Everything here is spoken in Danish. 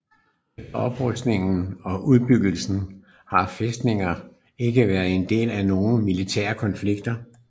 Efter oprustningen og udbyggelsen har fæstningen ikke været en del af nogle militære konflikter